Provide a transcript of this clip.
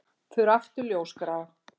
Þau eru aftur ljósgrá.